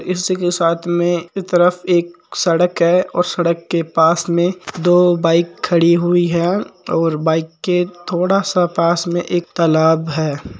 इसी के साथ में इसी तरफ एक सड़क है और सड़क के पास में दो बाइक खड़ी हुई है और बाइक के थोडा पास में एक तालाब है।